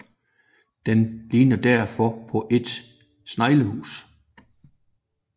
Den ligner derfor på et sneglehus